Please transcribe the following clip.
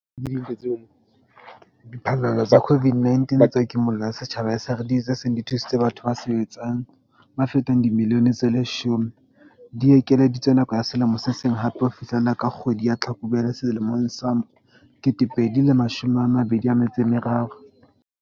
Diphallelo tsa COVID-19 tsa Kimollo ya Setjhaba, SRD, tse seng di thusitse batho ba sa sebetseng ba fetang dimilione tse 10, di ekeleditswe nako ya selemo se seng hape - ho fihlela ka kgwedi ya Tlhakubele selemong sa 2023.